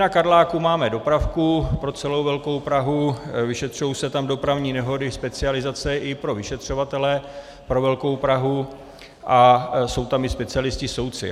Na Karláku máme dopravku pro celou velkou Prahu, vyšetřují se tam dopravní nehody, specializace i pro vyšetřovatele pro velkou Prahu a jsou tam i specialisté soudci.